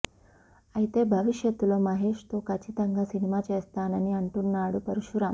అయితే భవిష్యత్తులో మహేష్ తో కచ్చితంగా సినిమా చేస్తానని అంటున్నాడు పరశురామ్